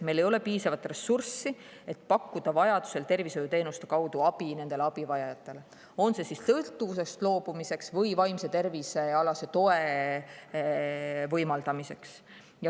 Meil ei ole piisavalt ressurssi, et pakkuda vajadusel tervishoiuteenuste kaudu abi nendele abivajajatele, on see siis sõltuvusest loobumiseks või vaimse tervise toetamiseks.